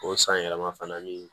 O san yɛlɛma fana ni